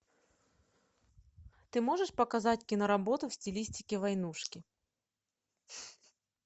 ты можешь показать киноработу в стилистике войнушки